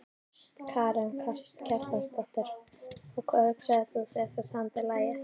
Karen Kjartansdóttir: Og hvað hugsaðir þú þegar þú samdir lagið?